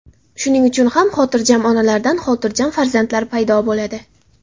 Shuning uchun ham xotirjam onalardan xotirjam farzandlar paydo bo‘ladi.